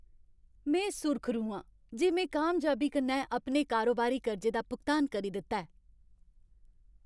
में सुरखरू आं जे में कामयाबी कन्नै अपने कारोबारी कर्जे दा भुगतान करी दित्ता ऐ।